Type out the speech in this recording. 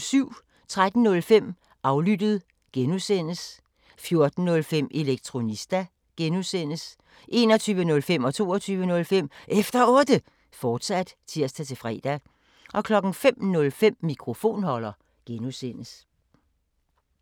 13:05: Aflyttet G) 14:05: Elektronista (G) 21:05: Efter Otte, fortsat (tir-fre) 22:05: Efter Otte, fortsat (tir-fre) 05:05: Mikrofonholder (G)